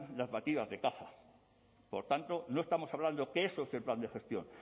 las batidas de caza por tanto no estamos hablando que eso es el plan de gestión